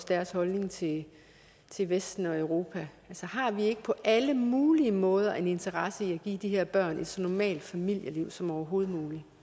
deres holdning til til vesten og europa altså har vi ikke på alle mulige måder en interesse i at give de her børn et så normalt familieliv som overhovedet